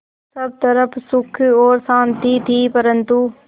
सब तरफ़ सुख और शांति थी परन्तु